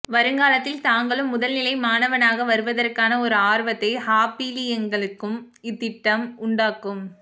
வருங்காலத்தில் தாங்களும் முதல்நிலை மாணவனாக வருவதற்கான ஒரு ஆர்வத்தை ஹாபிழீங்களுக்கும் இத்திட்டம் உண்டாக்கும்